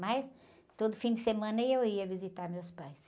Mas todo fim de semana eu ia visitar meus pais.